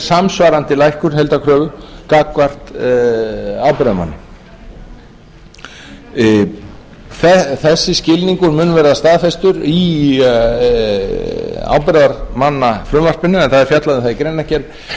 samsvarandi lækkun heildarkröfu gagnvart ábyrgðarmanni þessi skilningur mun vera staðfestur í ábyrgðarmannafrumvarpinu en það er fjallað um það í